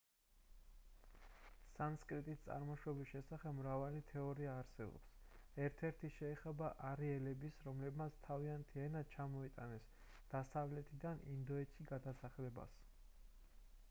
სანსკრიტის წარმოშობის შესახებ მრავალი თეორია არსებობს. ერთ-ერთი შეეხება არიელების, რომლებმაც თავიანთი ენა ჩამოიტანეს დასავლეთიდან ინდოეთში გადასახლებას